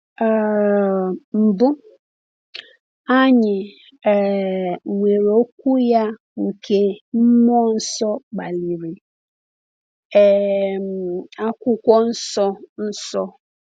um Mbụ, anyị um nwere Okwu ya nke mmụọ nsọ kpaliri, um Akwụkwọ Nsọ Nsọ.